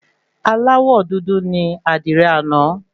Aláwọ dúdú ní àdìrẹ àná.